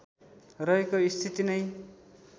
रहेको स्थिति नै